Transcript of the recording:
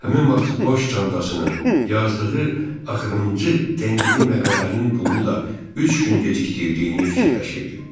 Həmin vaxt boş çantasını, yazdığı axırıncı tənqidi məqalənin pulunu da üç gün gecikdirdiyini fikirləşirdi.